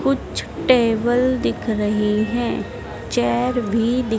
कुछ टेबल दिख रही हैं चेयर भी दिख--